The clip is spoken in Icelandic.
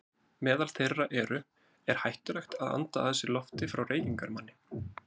Meðal þeirra eru: Er hættulegt að anda að sér lofti frá reykingamanni?